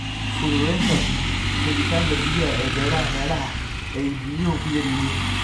Fududeynta helitaanka biyaha ee beeraha meelaha ay biyuhu ku yar yihiin.